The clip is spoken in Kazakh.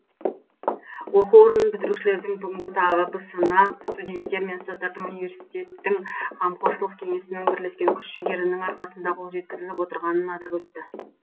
оқу орнын бітірушілердің бүгінгі табысына студенттер мен ұстаздардың университеттің қамқоршылық кеңесінің бірлескен күш жігерінің арқасында қол жеткізіліп отырғанын атап өтті